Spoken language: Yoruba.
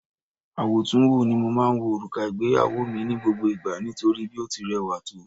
Àwòtúnwò ni mo máa ń wo òrùka ìgbéyàwó mi ní gbogbo ìgbà nítorí bí ó ti rẹwà tó